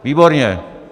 Výborně.